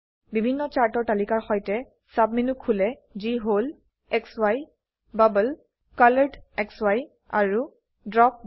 বিভিন্ন চাৰ্টৰ তালিকাৰ সৈতে সাবমেনু খোলে যি হল সি বাবল কলৰেডসি আৰু ড্ৰপবাৰ